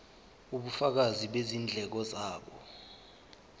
ubufakazi bezindleko zabo